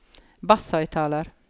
basshøyttaler